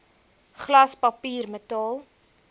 glas papier metaal